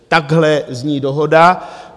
Takhle zní dohoda.